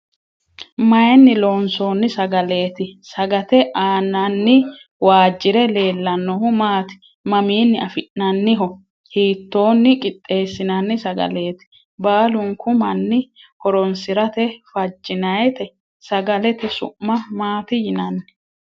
Maayinni losoonni sagaleeti? Sagate aanaanni waajjire leellannohu maati? Mamiinni afi'nanniho? Hiittoonni qixxeessinanni sagaleeti? Baalunku manni horoonsirate fajjinaayte? Sagalete su'ma maati yinanni?